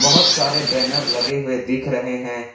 बहुत सारे बैनर लगे हुए दिख रहे हैं।